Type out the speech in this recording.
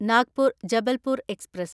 Nagpur Jabalpur express